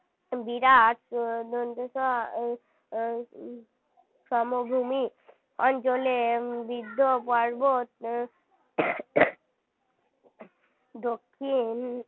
বিরাট দন্তে স উম সমভূমি অঞ্চলে বৃদ্ধ পর্বত দক্ষিণ